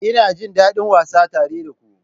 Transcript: Ina jin daɗin wasa tare da ku.